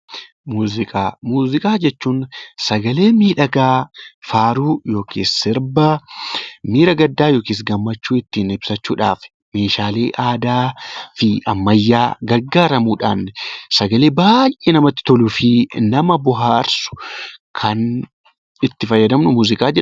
Muuziqaa jechuun sagalee miidhagaa faaruu yookaan sirbaa miira gaddaa yookiin gammachuu ittiin ibsuudhaaf meeshaalee aadaa fi ammayyaa gargaaramuudhaan sagalee baay'ee namatti toluu fi nama bohaarsu kan itti fayyadamnu muuziqaa jedhama